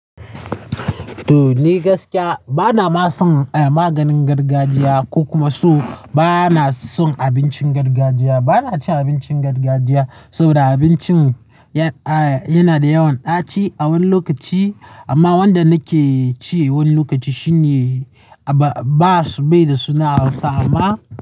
To ni gaskiya bana ma son, eh maganin gargajiya ko kuma so bana son abincin gargajiya. Bana cin abincin gargajiya saboda abincin ya, a yana da yawan ɗaci a wani lokaci. Amma wanda nake ci wani lokaci shine aba-ba su bai da suna Hausa amma.